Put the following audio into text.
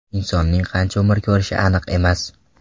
Insonning qancha umr ko‘rishi aniq emas.